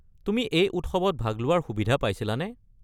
তুমি এই উৎসৱত ভাগ লোৱাৰ সুবিধা পাইছিলানে?